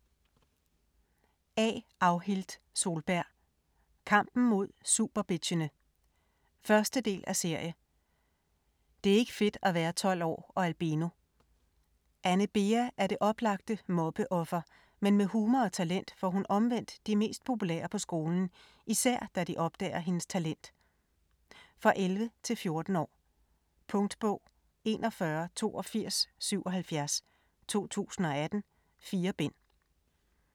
Solberg, A. Audhild: Kampen mod superbitchene 1. del af serie. Det er ikke fedt at være 12 år og albino. Anne Bea er det oplagte mobbeoffer, men med humor og talent får hun omvendt de mest populære på skolen, især da de opdager hendes talent. For 11-14 år. Punktbog 418277 2018. 4 bind.